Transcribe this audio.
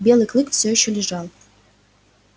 белый клык все ещё лежал